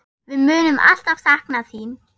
Við munum alltaf sakna þín.